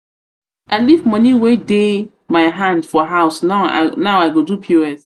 i leave money wey um dey um my hand for house now i go do pos. um